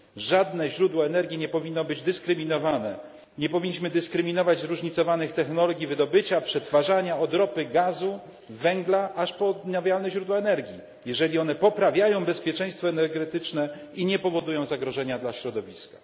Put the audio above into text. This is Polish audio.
Żadne źródło energii nie powinno być dyskryminowane, nie powinniśmy dyskryminować zróżnicowanych technologii wydobycia, przetwarzania, od ropy, gazu, węgla, aż po odnawialne źródła energii, jeżeli poprawiają one bezpieczeństwo energetyczne i nie powodują zagrożenia dla środowiska.